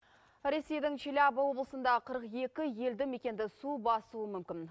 ресейдің челябі облысында қырық екі елді мекенді су басуы мүмкін